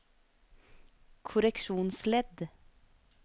korreksjonsledd